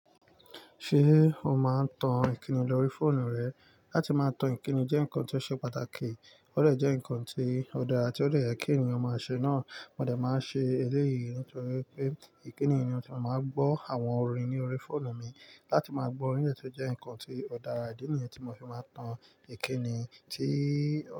Ṣé o máa ń tan ìkíni lórí fóònù rẹ? Látí máa tan ìkíni jẹ́ ǹkan tí ó ṣe pàtàkì, ó dè jẹ́ ǹkan tí ó dára tí ó dè kí ènìyàn máa ṣe náà. Mo dà máa ń ṣe eléyìí nítorí pé ìdí nìyẹn tí mo máa ń gbọ́ àwọn orin ní orí fóònù mi. Látí máa gbọ orin dẹ̀ tún jẹ́ ǹkan tí ó dára, ìdí nìyẹn tí mo fi máa tan ìkíni tí ó.